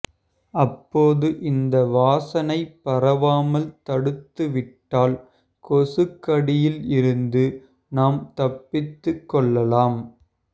அப்போது இந்த வாசனைப் பரவாமல் தடுத்துவிட்டால் கொசுக்கடியில் இருந்து நாம் தப்பித்துக் கொள்ளலாம்